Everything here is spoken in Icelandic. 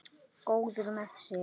Góður með sig.